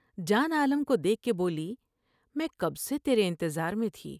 جان عالم کو دیکھ کے بولی میں کب سے تیرے انتظار میں تھی ۔